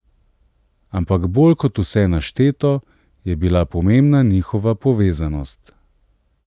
Ampak bolj kot vse našteto, je bila pomembna njihova povezanost.